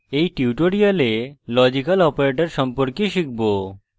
in tutorial logical operators সম্পর্কে শিখব